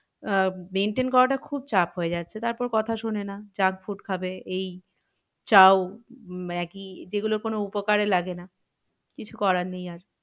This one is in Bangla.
আহ maintain করাটা খুব চাপ হয়ে যাচ্ছে। তারপর কথা শোনে না junk food খাবে এই চাউ উম ম্যাগি যে গুলো যেগুলো কোনো উপকারে লাগে না। কিছু করার নেই।